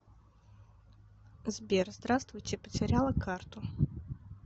сбер здравствуйте потеряла карту